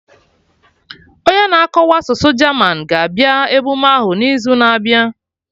Onye na-akọwa asụsụ German ga-abịa emume ahụ n'izu na-abịa